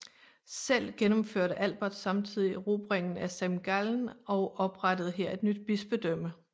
Selv gennemførte Albert samtidig erobringen af Semgallen og oprettede her et nyt bispedømme